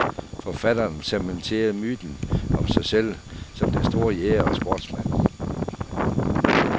Forfatteren cementerede myten om sig selv som den store jæger og sportsmand.